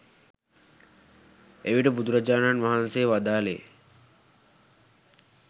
එවිට බුදුරජාණන් වහන්සේ වදාළේ